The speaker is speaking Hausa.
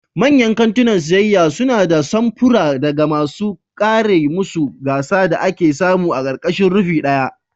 Manyan kantunan siyayya suna da samfura daga masu kera masu gasa da ake samu a ƙarƙashin rufin ɗaya.